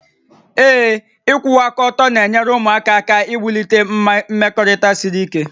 Ee. ịkwụwa aka ọtọ na-enyere ụmụaka aka iwulite mmekọrịta siri ike